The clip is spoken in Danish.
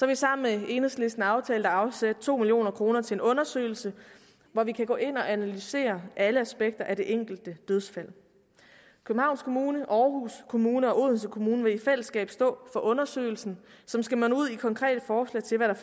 vi sammen med enhedslisten aftalt at afsætte to million kroner til en undersøgelse hvor vi kan gå ind og analysere alle aspekter af det enkelte dødsfald københavns kommune aarhus kommune og odense kommune vil i fællesskab stå for undersøgelsen som skal munde ud i konkrete forslag til hvad